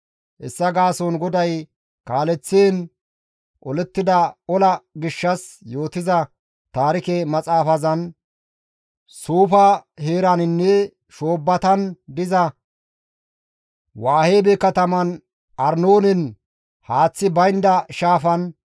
Hessa gaason GODAY kaaleththiin olettida ola gishshas yootiza taarike maxaafazan, «Suufa heeraninne shoobbatan diza Waheebe kataman Arnoonen haaththi baynda shaafan,